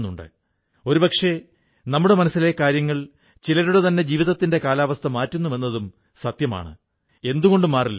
ഗ്രാമീണ സമ്പദ്വ്യവസ്ഥയുടെയും ആത്മനിർഭരതയുടെയും ദർശനം ഇതുമായി എങ്ങനെ ബന്ധപ്പെട്ടിരിക്കുന്നുവെന്നും മനസ്സിലാക്കിയ ബ്രൌൺ ഈ ദർശനം ഉൾക്കൊണ്ടു